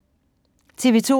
TV 2